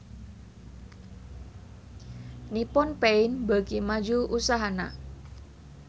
Nippon Paint beuki maju usahana